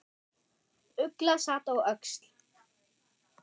Ugla sat á öxl.